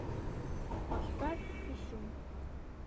поставь писюн